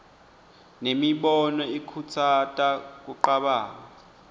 nemibono ikhutsata kucabanga